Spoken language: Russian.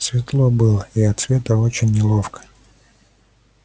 светло было и от света очень неловко